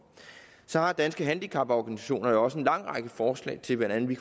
så har danske handicaporganisationer jo også en lang række forslag til hvordan vi